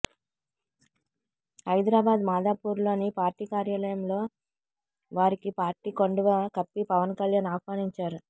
హైదరాబాద్ మాదాపూర్లోని పార్టీ కార్యాలయంలో వారికి పార్టీ కండువా కప్పి పవన్ కళ్యాణ్ ఆహ్వానించారు